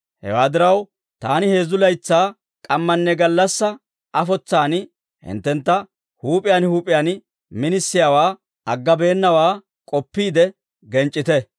Hewaa diraw, taani heezzu laytsaa k'ammanne gallassaa afotsaan hinttentta huup'iyaan huup'iyaan minisiyaawaa aggabeennawaa k'oppiide genc'c'ite.